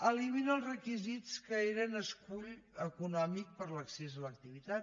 elimina els requisits que eren escull econòmic per a l’accés a l’activitat